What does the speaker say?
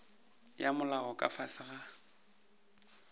ya molao ka fase ga